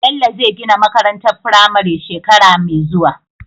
Bello zai gina makarantar firame shekara me zuwa